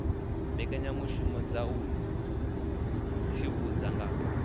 mbekanyamishumo dza u tsivhudza nga